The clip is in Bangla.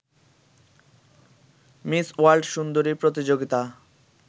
মিস ওয়ার্ল্ড সুন্দরী প্রতিযোগিতা